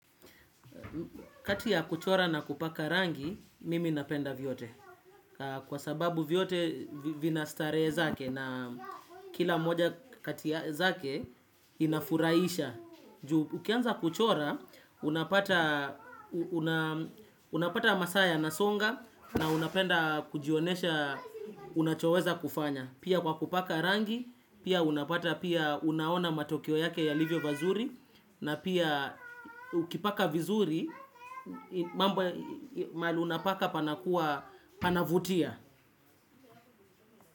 Kati ya kuchora na kupaka rangi, mimi napenda vyote. Kwa sababu vyote vina starehe zake na kila moja kati zake inafuraisha. Ukianza kuchora, unapata masaa yanasonga na unapenda kujionesha unachoweza kufanya. Pia kwa kupaka rangi, pia unapata pia unaona matokeo yake yalivyo vazuri. Na pia ukipaka vizuri, mahali unapaka panakua panavutia.